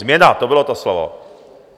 Změna, to bylo to slovo.